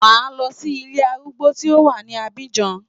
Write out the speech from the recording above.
Màá lọ sí ilé arúgbó tí ó wà ní Abidjan.